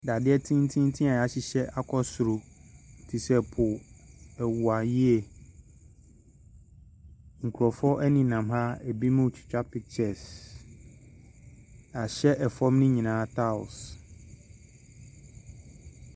Dadeɛ tententen a yɛahyehyɛ akɔ soro te sɛ pole, ɛware yie. Nkurɔfoɔ nenam ha, binom ɛretwa pictures. Yɛahyɛ fam ne nyinaa tiles.